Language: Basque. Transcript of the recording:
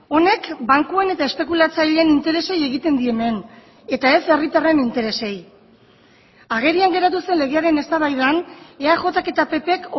honek bankuen eta espekulatzaileen interesei egiten die hemen eta ez herritarren interesei agerian geratu zen legearen eztabaidan eajk eta ppk